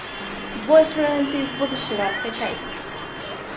бойфренд из будущего скачай